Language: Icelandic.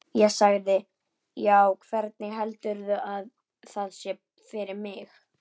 Ég sagði: Já, hvernig heldurðu að það sé fyrir mig?